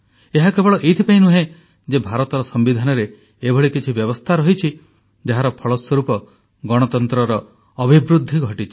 ଏହା କେବଳ ଏଇଥିପାଇଁ ନୁହେଁ ଯେ ଭାରତର ସମ୍ବିଧାନରେ ଏଭଳି କିଛି ବ୍ୟବସ୍ଥା ରହିଛି ଯାହାର ଫଳସ୍ୱରୂପ ଗଣତନ୍ତ୍ରର ଅଭିବୃଦ୍ଧି ଘଟିଛି